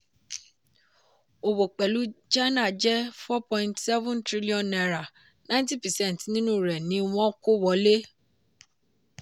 òwò pẹ̀lú china jẹ́ four point seven trillion naira ninety percent nínú rẹ̀ ni wọ́n kó wọlé.